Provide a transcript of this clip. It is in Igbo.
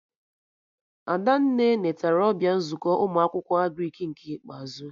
Adanne netara ọbịa nzukọ ụmụ akwụkwọ Agrịk nke ikpeazụ